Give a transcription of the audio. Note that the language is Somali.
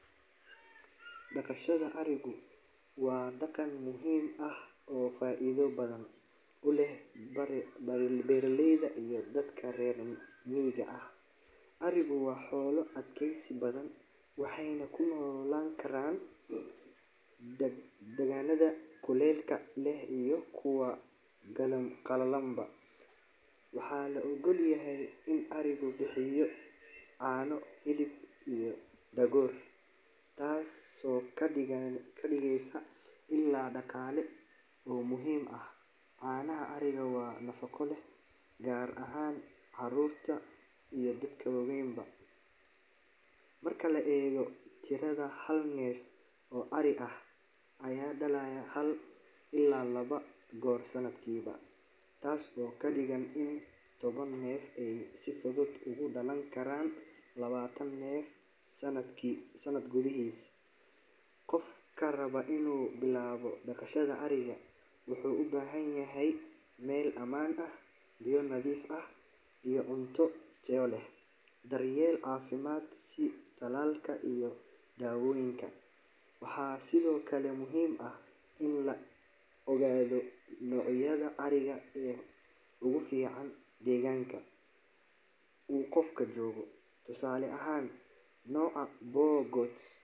Dhaqashada arigu waa dhaqan muhiim ah oo faa’iido badan u leh beeraleyda iyo dadka reer miyiga ah. Arigu waa xoolo adkaysi badan, waxayna ku noolaan karaan deegaanada kulaylaha leh iyo kuwa qalalanba. Waxaa la og yahay in arigu bixiyo caano, hilib iyo dhogor, taasoo ka dhigaysa ilo dhaqaale oo muhiim ah. Caanaha ariga waa nafaqo leh, gaar ahaan carruurta iyo dadka waayeelka ah. Marka la eego tirada, hal neef oo ari ah ayaa dhalaysa hal ilaa laba qoor sanadkiiba, taas oo ka dhigan in toban neef ay si fudud uga dhalan karaan labaatan neef sanad gudihiis. Qofka raba inuu bilaabo dhaqashada ariga, wuxuu u baahan yahay meel ammaan ah, biyo nadiif ah, cunto tayo leh, iyo daryeel caafimaad sida tallaalka iyo daawooyinka. Waxaa sidoo kale muhiim ah in la ogaado noocyada ariga ee ugu fiican deegaanka uu qofku joogo. Tusaale ahaan, nooca Boer goat.